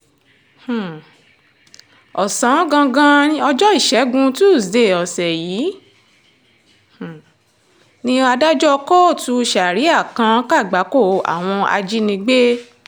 um ọ̀sán gangan ọjọ́ ìṣẹ́gun túṣídéé ọ̀sẹ̀ yìí um ni adájọ́ kóòtù saria kan kàgbákò àwọn ajínigbé